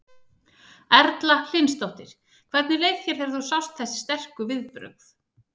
Erla Hlynsdóttir: Hvernig leið þér þegar þú sást þessi sterku viðbrögð?